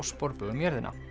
sporbaug um jörðina